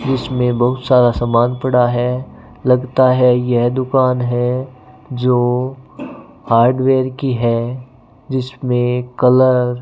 इसमें बहुत सारा सामान पड़ा है लगता है यह दुकान है जो हार्डवेयर की है जिसमें कलर --